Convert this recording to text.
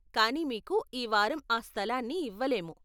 కానీ మీకు ఈ వారం ఆ స్థలాన్ని ఇవ్వలేము.